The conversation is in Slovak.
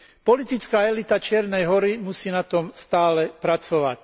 Politická elita Čiernej Hory musí na tom stále pracovať.